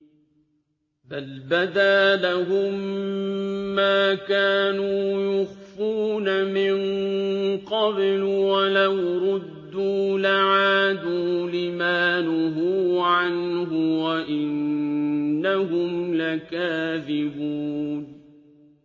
بَلْ بَدَا لَهُم مَّا كَانُوا يُخْفُونَ مِن قَبْلُ ۖ وَلَوْ رُدُّوا لَعَادُوا لِمَا نُهُوا عَنْهُ وَإِنَّهُمْ لَكَاذِبُونَ